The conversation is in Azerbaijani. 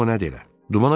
Görüm o nədir elə.